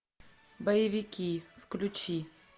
боевики включи